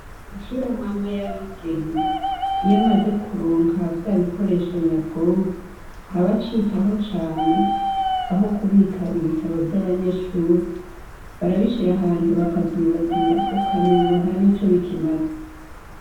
Amashure amwe amwe y' abigenga, iyo amaze kuronka vya bikoresho nyabwonko, ntaba acitaho cane aho kubika ibitabo vy' abanyeshuri, barabishira ahantu bakavyibagira ,ukamengo nta nico bikimaze .